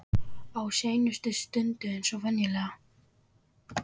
Á seinustu stundu eins og venjulega.